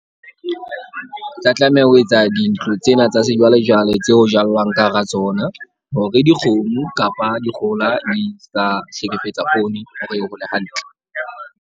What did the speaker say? Ke tla tlameha ho etsa dintlo tsena tsa sejwalejwale, tseo jallwang ka hara tsona. Hore dikgomo kapa dikgohola di sa hlekefetsa poone hore e hole hantle.